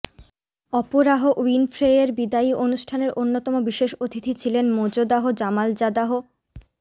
Oprah উইনফ্রেয়ের বিদায়ী অনুষ্ঠানের অন্যতম বিশেষ অতিথি ছিলেন মোজদাহ জামালজাদাহ